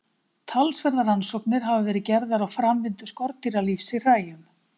Talsverðar rannsóknir hafa verið gerðar á framvindu skordýralífs í hræjum.